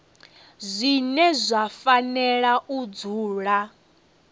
zwine zwa fanela u dzula